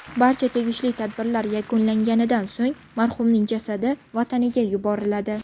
Barcha tegishli tadbirlar yakunlanganidan so‘ng marhumning jasadi vataniga yuboriladi.